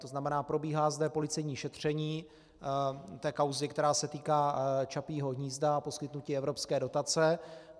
To znamená, probíhá zde policejní šetření té kauzy, která se týká Čapího hnízda a poskytnutí evropské dotace.